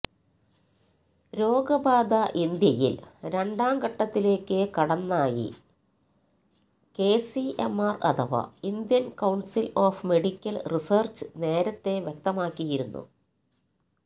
രോഗബാധ ഇന്ത്യയിൽ രണ്ടാം ഘട്ടത്തിലേക്ക് കടന്നായി ഐസിഎംആർ അഥവാ Indian council of medical research നേരത്തേ വ്യക്തമാക്കിയിരുന്നു